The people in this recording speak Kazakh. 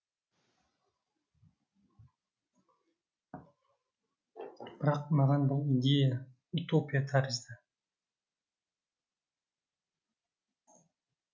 бірақ маған бұл идея утопия тәрізді